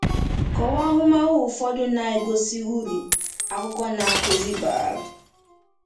Kọwaa ahụmahụ ụfọdụ na-egosi uru akwụkwọ Na-akụzi bara.